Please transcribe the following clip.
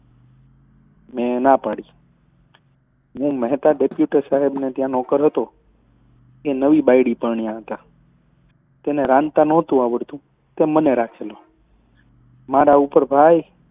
મેં નાં પડી હું મહેતા ડેપ્યુટી સાહેબને ત્યાં નોકર હતો. એ નવી બાયડી પરણ્યા હતા. તેને રાંધતાં નહોતું આવડતું તે મને રાખેલો. મારા ઉપર ભાઈ,